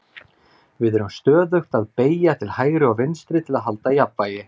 við erum stöðugt að beygja til hægri og vinstri til að halda jafnvægi